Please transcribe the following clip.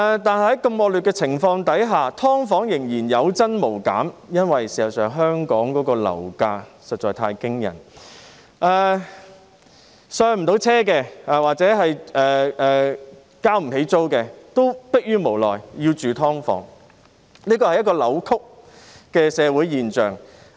但是，在如此惡劣的情況下，"劏房"仍然有增無減，因為香港的樓價實在太驚人，無法"上車"或付不起租金的市民，也逼於無奈要居住於"劏房"，這是一個扭曲的社會現象。